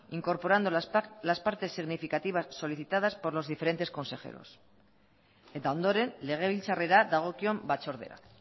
incorporando las partes significativas solicitadas por los diferentes consejeros eta ondoren legebiltzarrera dagokion batzordera